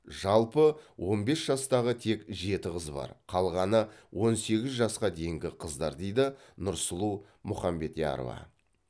жалпы он бес жастағы тек жеті қыз бар қалғаны он сегіз жасқа дейінгі қыздар дейді нұрсұлу мұхамбетярова